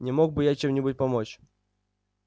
не мог бы я чем-нибудь помочь